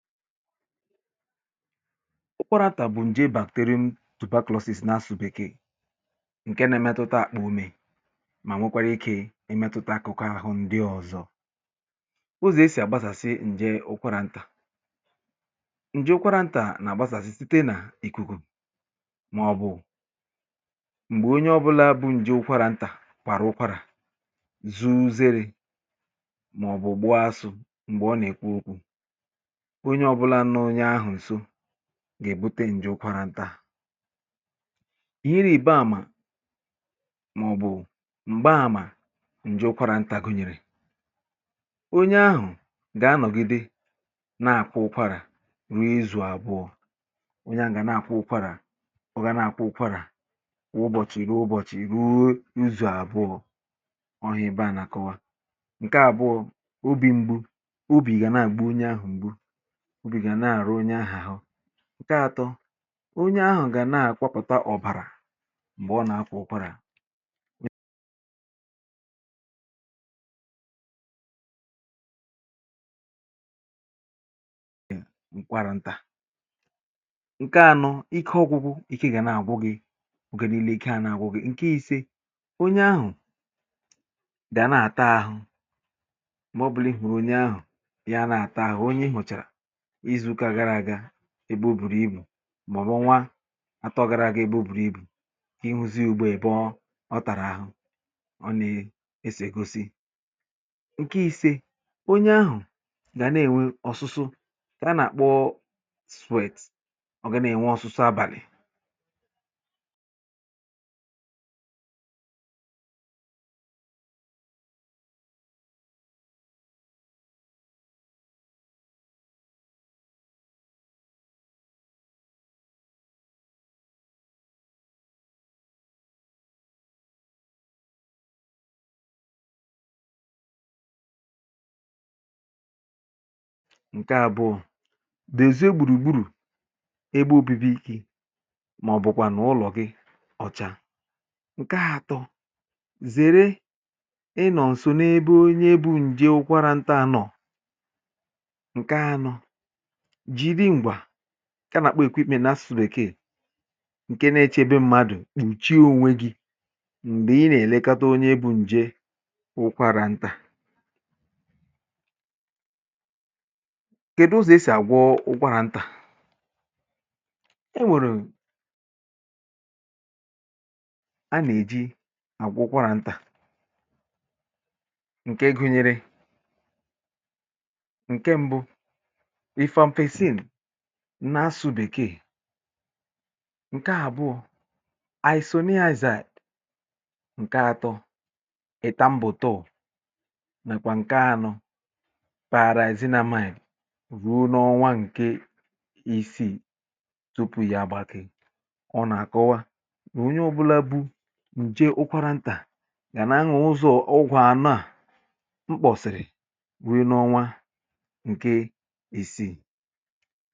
ụkwarantà bụ̀ ǹje bàkteri m tụ̀bakọ̀lọ̀sisi n’asụ̇sụ̇ bèkee ǹke na-emetụta àkpà ume um mà nwekwara ikė imetụta akụkụ ahụ̇ ndị ọ̀zọ ụzọ̀ e sì àgbasàsị ǹje ụkwarà ntà bụ̀ site nà ìkùkù màọbụ̀ m̀gbè onye ọ bụla bụ̇ ǹje ụkwarà ntà kwàrà ụkwarà zuu zere màọbụ̀ ụgbọ asụ̇ m̀gbè ọ nà-èkwu okwu̇ ọ gà-èbute ǹje ụkwarȧ ntà ihe ire ibe àmà màọ̀bụ̀ m̀gba àmà ǹje ụkwarȧ ntà gụ̇nyèrè onye ahụ̀ gà-anọ̀gide na-àkwụ ụkwarà ruo izù àbụọ onye ahụ̀ gà na-àkwụ ụkwarà ọ gà na-àkwụ ụkwarà kwụ ụbọ̀chìrì ụbọ̀chì ruo izù̀ àbụọ ọhụ̇ ebe à nà-àkọwa ǹke àbụọ̇ bụ̀ m̀gbu obi̇ nà ị̀gàna àgbụ̇ onye ahụ̀ m̀gbu ǹke atọ onye ahụ̀ gà na-àkwapụ̀ta ọ̀bàrà m̀gbè ọ nà-akwọ̇ ụ̇kwọ̇rȧ ntà ǹke anọ bụ̀ ike ọ̇gụ̇gụ̇ ike gà nà-àgwụ gị̇ ọ̀gà niilė ike anọ ǹke isė onye ahụ̀ dị̀à na-àta ahụ̀ màọbụ̀rị̀ hụ̀rụ̀ onye ahụ̀ ya na-àta ahụ̀ onye ị hụ̀chàrà ebe o bùrù ibù mọ̀bụ nwa atọ gara aga ebe o bùrù ibù kà ịhụzi ùgbò èbe ọ ọ tàrà àhụ ọ nà-èsì egosi ǹkè ahụ̀ ǹke ise onye ahụ̀ gà nà-ènwe ọ̀sụsụ kà a nà-àkpọ sweets ọ̀ gà na-ènwe ọ̀sụsụ abàlị̀ ǹke àbụ̀ọ dèzie gbùrùgbùrù ebe obibi ikė màọ̀bụ̀kwànụ̀ ụlọ̀ gị ǹke atọ zère ịnọ̀ nsònebe onye bụ̇ ǹdị wụkwarȧ ntà anọ̀ ǹke nȧ-ėchē be mmadụ̀ mà ǹchị oȯnwe gị̇ m̀gbè ị nà-èlekata onye bụ̇ ǹje ụkwarà ntà ǹke dozù esì àgwọ ụkwà ntà e nwèrè a nà-èji àgwọ ụkwà ntà ǹke gụ̇nyèrè nà asụ̀bè kè ǹke àbụọ̇ bụ̀ isoniaiaise ǹke atọ ị̀ta mbọ̀tọ nàkwà ǹke anọ para èzinàmanyì ruo n’ọnwa ǹke isii tupu yȧ gbàkị um ọ nà-àkụwa ònye ọ̀bụla bụ ǹje ụkwarantà gà na ahà ụzọ̀ ụgwọ̀ anụà mkpọ̀sị̀rị̀ ruo n’ọnwa ǹke isii ha bịa tụ̀sịa ya nà ihe n’oge gị̇ um ihe ha nà-eji ya bụ̀ nà ọ̀gwụ̀ ndị a gà-ènye onye ọrịa ụkwarantà àkụ̀zị̀rì ya kà ọ wụlịe ike nà àgbanwe ọnọdụ àhụ̀ nà ndụ̀ ya n’ụzọ̀ ọma